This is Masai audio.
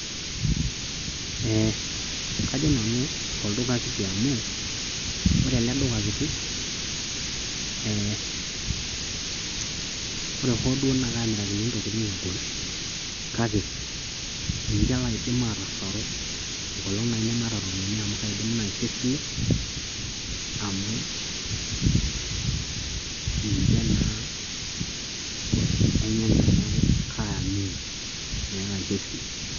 ee kajo nanu tolduka kiti amu. ore eleduka kiti ee ore hoo duo naa kaamirakini ntokitin egol, kake ninche laidim atasaru enkolog aaji nemaata ropiyiani amu kaaidim naisho esile, amu ninche naa oshi ainyanga neaku kaaimini, Naaku kaisho esile.